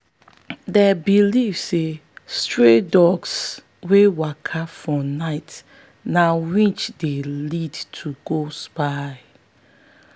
them believe say stray dogs wey waka for night na witch dey lead to go spy.